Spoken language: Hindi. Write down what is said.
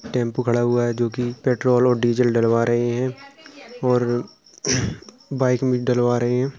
टेम्पो खड़ा हुआ है जोकि पेट्रोल और डीजल डलवा रहे है और बाइक मे डलवा रहे है।